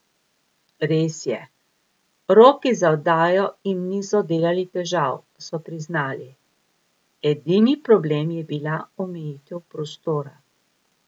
Res je, roki za oddajo jim niso delali težav, so priznali, edini problem je bila omejitev prostora.